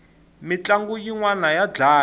mintlangu yinwani ya dlaya